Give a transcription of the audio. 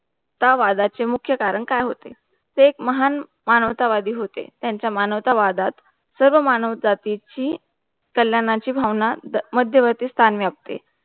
त्या वादाचे मुख्य कारण काय होते. ते एक महान मानवता वादी होते, त्यांचा मानवता वादात, सर्व मानवजाती ची कल्याणाची भावना मध्यवर्ती स्थान मिळवते